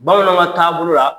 Bamananw ka taabolo bolo la